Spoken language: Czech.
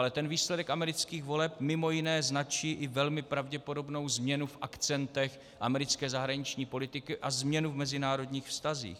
Ale ten výsledek amerických voleb mimo jiné značí i velmi pravděpodobnou změnu v akcentech americké zahraniční politiky a změnu v mezinárodních vztazích.